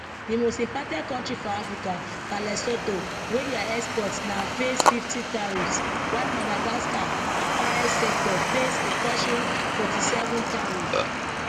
di most impacted kontri for africa na lesotho wey dia exports now face 50 tariffs while madagascar apparel sector face a crushing 47 tariff